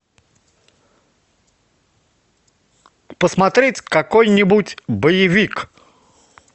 посмотреть какой нибудь боевик